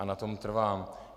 A na tom trvám.